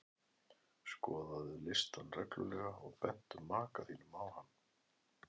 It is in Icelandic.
Skoðaðu listann reglulega og bentu maka þínum á hann.